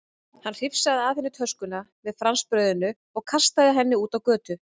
Hann hrifsaði af henni töskuna með franskbrauðinu og kastaði henni út á götu.